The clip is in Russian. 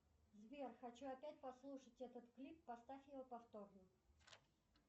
сбер хочу опять послушать этот клип поставь его повторно